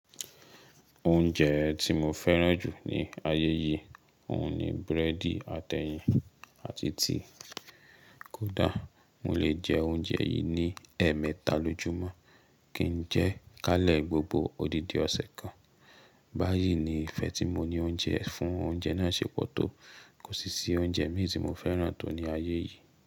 Oúnjẹ tí mo fẹ́ràn jù ní ayé yìí, òun ni búrẹ́dì ati ẹ́yìn àti tea. Kódà, mo lè jẹ oúnjẹ yìí ní ẹẹ̀mẹta lójúmọ́ kí n jẹ ká lè gbogbo òdìdì ọ̀sẹ̀ kan. Báyìí ni ìfẹ́ tí mo ní fún oúnjẹ náà ṣe pọ̀ tó. Kò sí i oúnjẹ mì í tí mo fẹ́ràn tó ní ayé yìí.